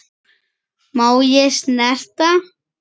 Má ég snerta?